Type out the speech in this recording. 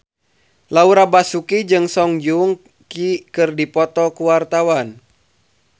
Laura Basuki jeung Song Joong Ki keur dipoto ku wartawan